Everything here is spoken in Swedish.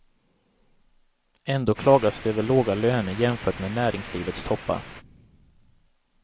Ändå klagas det över låga löner jämfört med näringslivets toppar.